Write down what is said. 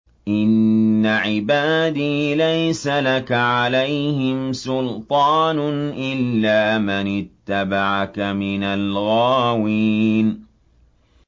إِنَّ عِبَادِي لَيْسَ لَكَ عَلَيْهِمْ سُلْطَانٌ إِلَّا مَنِ اتَّبَعَكَ مِنَ الْغَاوِينَ